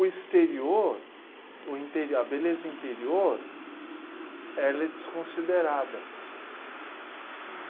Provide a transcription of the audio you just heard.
O exterior, o interi, a beleza interior, ela é desconsiderada.